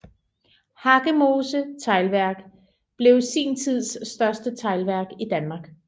Hakkemose Teglværk blev sin tids største teglværk i Danmark